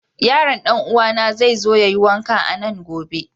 Yaron dan'uwana zai zo ya yi wanka a nan gobe.